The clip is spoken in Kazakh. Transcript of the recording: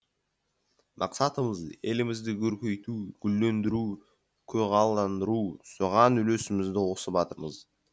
мақсатымыз елімізді көркейту гүлдендіру көгалдандыру соған үлесімізді қосып жатырмыз